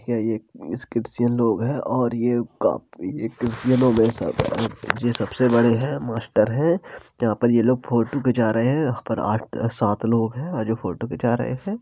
यह एक क्रिश्चियन लोग है और ये काफी क्रिश्चियनो ये सबसे बड़े हैं मास्टर हैं । यहाँ पर ये लोग फ़ोटू खींचा रहे है उस पर आठ-सात लोग है जो फ़ोटू खींचा रहे हैं।